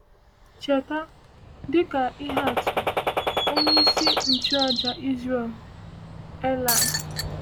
Cheta, dịka ihe atụ, onyeisi nchụàjà Izrel, Elai.